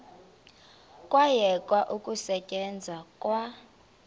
kwayekwa ukusetyenzwa kwa